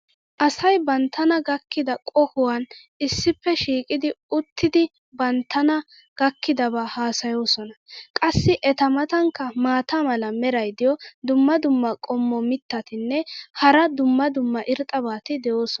Asay banttana gakkida qohuwan issippe shiiqidi uttidi banttana gakkidabaa haasayoosona. qassi eta matankka maata mala meray diyo dumma dumma qommo mitattinne hara dumma dumma irxxabati de'oosona.